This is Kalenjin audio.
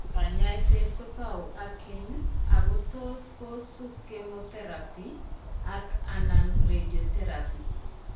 Kaany'ayseet kotau ak keeny' ak kotos' kosubi chemotherapy ak/anan radiation therapy.